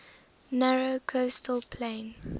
narrow coastal plain